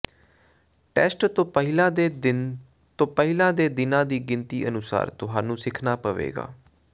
test ਤੋਂ ਪਹਿਲਾਂ ਦੇ ਦਿਨ ਤੋਂ ਪਹਿਲਾਂ ਦੇ ਦਿਨਾਂ ਦੀ ਗਿਣਤੀ ਅਨੁਸਾਰ ਤੁਹਾਨੂੰ ਸਿੱਖਣਾ ਪਵੇਗਾ